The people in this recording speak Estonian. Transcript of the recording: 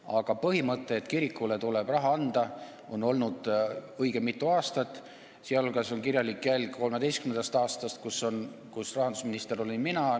Aga põhimõtet, et kirikule tuleb raha anda, on peetud õigeks mitu aastat, sh on olemas kirjalik jälg 2013. aastast, kui rahandusminister olin mina.